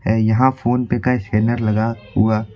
यहां फोनपे का स्कैनर लगा हुआ--